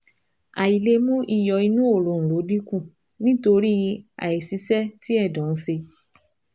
Àìlè mú iyọ̀ inú òróǹro dínkù nítorí àìṣiṣẹ́ tí ẹ̀dọ̀ ń ṣe